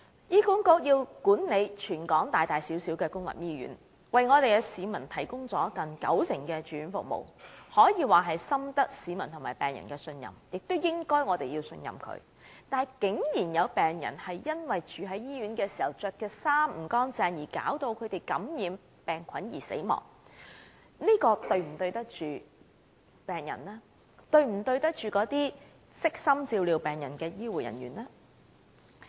醫管局管理全港大大小小的公立醫院，為市民提供接近九成的住院服務，可以說深得市民和病人的信任，我們也應該要信任他們，但竟有病人在住院期間因穿着不潔病人服而受感染死亡，這是否對得起病人和悉心照料病人的醫護人員呢？